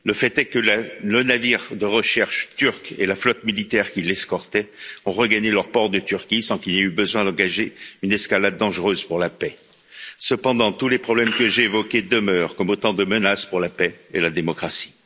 Le fait est que le navire de recherche turc et la flotte militaire qui l'escortait ont regagné leur port de Turquie, sans qu'il y ait eu besoin d'engager une escalade dangereuse pour la paix. Cependant, tous les problèmes que j'ai évoqués demeurent comme autant de menaces pour la paix et la démocratie.